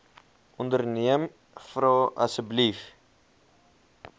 onderneem vra asseblief